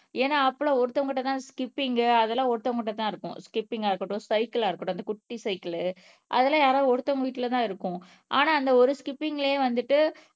ஏன்னா அப்பளம் ஒருத்தவங்க கிட்ட தான் ஸ்கிப்பிங் அதெல்லாம் ஒருத்தவங்க கிட்ட தான் இருக்கும் ஸ்கிப்பிங் ஆஹ் இருக்கட்டும் சைக்கிளா இருக்கட்டும் அந்த குட்டிசைக்கிள் அதெல்லாம் யாராவது ஒருத்தவங்க வீட்டுல தான் இருக்கும் ஆனா அந்த ஒரு ஸ்கிப்பிங்லயே வந்துட்டு